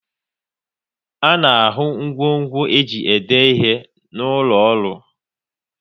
A na ahụ ngwo ngwo e ji ede ihe n'ụlọ ọrụ